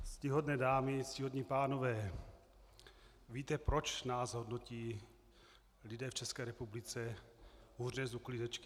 Ctihodné dámy, ctihodní pánové, víte proč nás hodnotí lidé v České republice hůře než uklízečky?